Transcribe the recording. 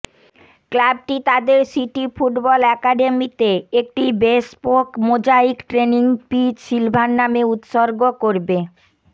ক্লাবটি তাদের city football অ্যাকাডেমিতে একটি bespoke mosaic training pitch silver নামে উত্সর্গ করবে